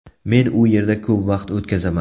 Men u yerda ko‘p vaqt o‘tkazaman.